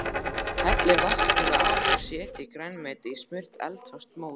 Hellið vatninu af og setjið grænmetið í smurt eldfast mót.